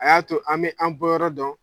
A y'a to an bɛ an bɔyɔrɔ dɔn